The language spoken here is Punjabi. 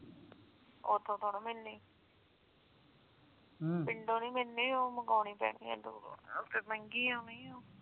ਉਥੋਂ ਥੋੜੀ ਮਿਲਣੀ ਪਿੰਡੋਂ ਨੀ ਮਿਲਣੀ ਉਹ ਮੰਗਾਉਣੀ ਪੈਣੀ ਇਧਰੋਂ ਉਹ ਫਿਰ ਮਹਿੰਗੀ ਆਉਣੀ ਉਹ